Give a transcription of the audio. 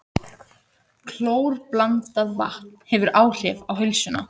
Klórblandað vatn hefur áhrif á heilsuna